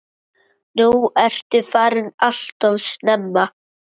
Nú ertu farin alltof snemma.